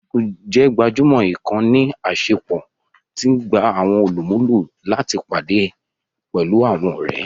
Facebook jẹ́ gbajúmọ̀ ìkànnì àṣepọ̀ tí í gba àwọn olùmúlò láti pàdé pẹ̀lú àwọn ọ̀rẹ́